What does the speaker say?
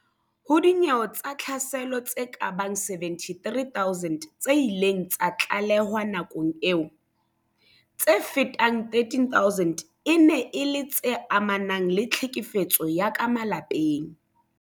Ho dinyewe tsa tlhaselo tse kabang 73 000 tse ileng tsa tlalehwa nakong eo, tse fetang 13000 e ne e le tse amanang le tlhekefetso ya ka malapeng.